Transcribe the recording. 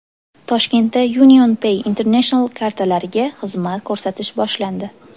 Toshkentda UnionPay International kartalariga xizmat ko‘rsatish boshlandi.